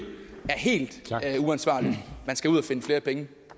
helt uansvarligt man skal ud og finde flere penge